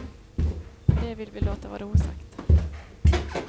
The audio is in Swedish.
Men det vill vi låta vara osagt.